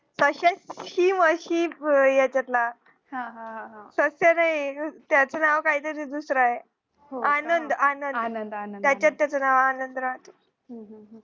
याच्यातला त्याच नाव काही तरी दुसरये आनंद आनंद त्याच्यात त्याच नाव आनंद